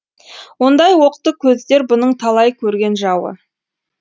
ондай оқты көздер бұның талай көрген жауы